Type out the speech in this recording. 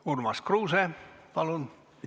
Urmas Kruuse, palun!